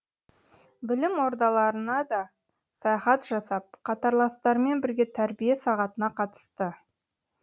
білім ордаларына да саяхат жасап қатарластарымен бірге тәрбие сағатына қатысты